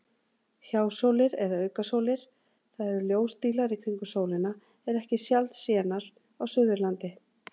Hjásólir eða aukasólir, það eru ljósdílar í kringum sólina, eru ekki sjaldsénar á Suðurlandi.